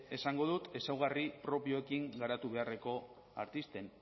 esango dut ezaugarri propioekin garatu beharreko artisten